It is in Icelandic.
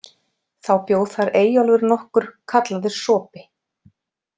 Þá bjó þar Eyjólfur nokkur kallaður sopi.